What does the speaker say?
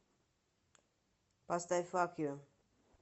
поставь фак ю